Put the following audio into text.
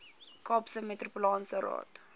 kaapse metropolitaanse raad